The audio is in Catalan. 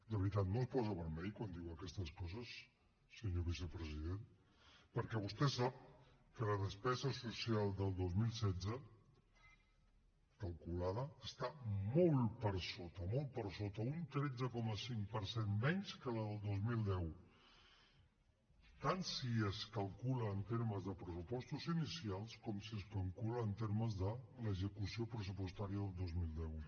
de veritat no es posa vermell quan diu aquestes coses senyor vicepresident perquè vostè sap que la despesa social del dos mil setze calculada està molt per sota molt per sota un tretze coma cinc per cent menys que la del dos mil deu tant si es calcula en termes de pressupostos inicials com si es calcula en termes de l’execució pressupostària del dos mil deu